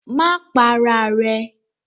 Má pa ara rẹ!